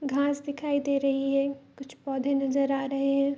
घास दिखाई दे रही हैं। कुछ पौधे नज़र आ रहे हैं।